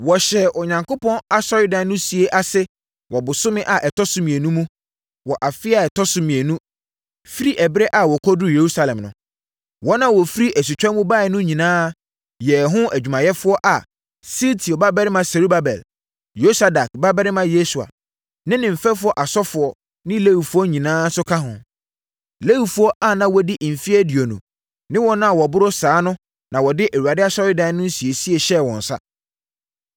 Wɔhyɛɛ Onyankopɔn asɔredan no sie ase wɔ bosome a ɛtɔ so mmienu mu wɔ afeɛ a ɛtɔ so mmienu firi ɛberɛ a wɔkɔduruu Yerusalem no. Wɔn a wɔfiri asutwa mu baeɛ no nyinaa yɛɛ ho adwumayɛfoɔ a Sealtiel babarima Serubabel, Yosadak babarima Yesua ne ne mfɛfoɔ asɔfoɔ ne Lewifoɔ nyinaa nso ka ho. Lewifoɔ a na wɔadi mfeɛ aduonu ne wɔn a wɔboro saa no na wɔde Awurade asɔredan no nsiesie hyɛɛ wɔn nsa.